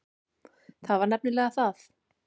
Það var nefnilega það.